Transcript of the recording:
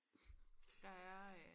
der er øh